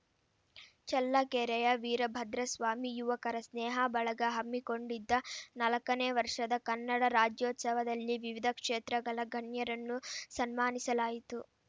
ಚಳ್ಳಕೆರೆಯ ವೀರಭದ್ರಸ್ವಾಮಿ ಯುವಕರ ಸ್ನೇಹ ಬಳಗ ಹಮ್ಮಿಕೊಂಡಿದ್ದ ನಾಲ್ಕನೇ ವರ್ಷದ ಕನ್ನಡ ರಾಜ್ಯೋತ್ಸವದಲ್ಲಿ ವಿವಿಧ ಕ್ಷೇತ್ರಗಳ ಗಣ್ಯರನ್ನು ಸನ್ಮಾನಿಸಲಾಯಿತು